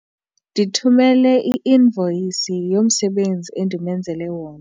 Ndithumele i-invoyisi yomsebenzi endimenzele wona.